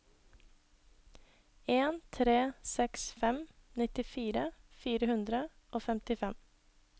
en tre seks fem nittifire fire hundre og femtifem